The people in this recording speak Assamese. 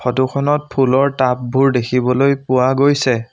ফটো খনত ফুলৰ টাব বোৰ দেখিবলৈ পোৱা গৈছে।